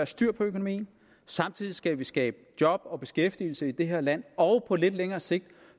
styr på økonomien og samtidig skal vi skabe job og beskæftigelse i det her land og på lidt længere sigt